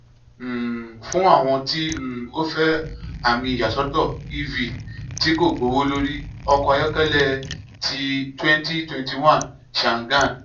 um fun awọn ti um o fẹ ami iyasọtọ ev ti ko gbowolori ọkọ ayọkẹlẹ ti twenty twenty one changan